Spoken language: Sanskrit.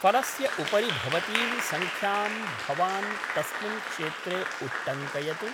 फलस्य उपरि भवतीं सङ्ख्यां भवान् तस्मिन् क्षेत्रे उट्टङ्कयतु।